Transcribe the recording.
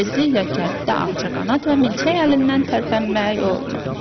Tezliklə kənddə ağcaqanad və milçək əlindən tərpənmək olmur.